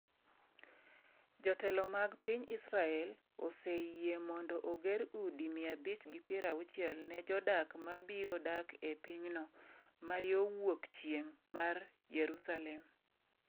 Jotelo mag piny Israel oseyie mondo oger udi 560 ne jodak ma biro dak e pinyno, ma yo wuok chieng’ mar Yerusalem.